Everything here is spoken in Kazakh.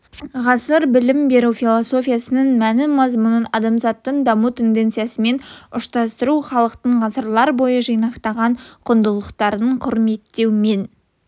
ғасыр білім беру философиясының мәнін мазмұнын адамзаттың даму тенденциясымен ұштастыру халықтың ғасырлар бойы жинақталған құндылықтарын құрметтеумен